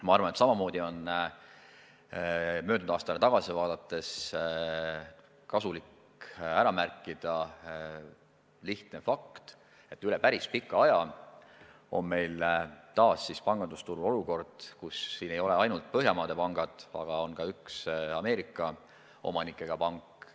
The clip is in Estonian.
Ma arvan, et samamoodi on möödunud aastale tagasi vaadates kasulik ära märkida lihtne fakt, et üle päris pika aja on meil taas pangandusturul olukord, kus siin ei ole ainult Põhjamaade pangad, vaid on ka üks Ameerika omanikega pank.